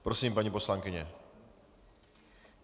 Prosím, paní poslankyně.